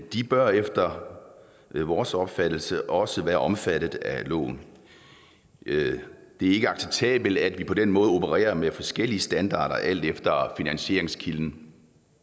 de bør efter vores opfattelse også være omfattet af loven det er ikke acceptabelt at vi på den måde opererer med forskellige standarder alt efter finansieringskilden